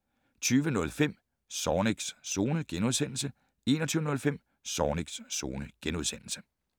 20:05: Zornigs Zone * 21:05: Zornigs Zone *